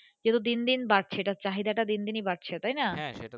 যত দিন দিন বাড়ছে এটার চাহিদা তা দিন দিনই বাড়ছে তাই না হত্যা হ্যাঁ সেতো।